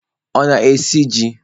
Ọ na-esi ji?